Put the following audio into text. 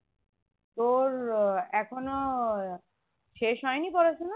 তোর এখনো শেষ হয়নি পড়াশোনা